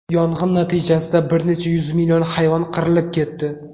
Yong‘in natijasida bir necha yuz million hayvon qirilib ketdi.